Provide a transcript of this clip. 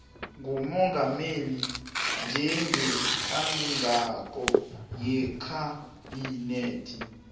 ngumongameli njengehloko yekhabhinethe